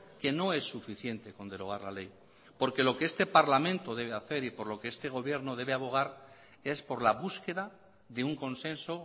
que no es suficiente con derogar la ley porque lo que este parlamento debe hacer y por lo que este gobierno debe abogar es por la búsqueda de un consenso